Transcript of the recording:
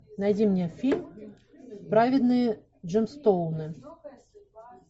найди мне фильм праведные джемстоуны